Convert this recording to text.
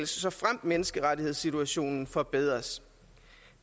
såfremt menneskerettighedssituationen forbedres